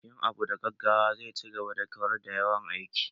Yin abu da gaggawa zai ci gaba da kawar da yawan aiki